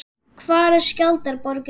Hvar er Skjaldborgin?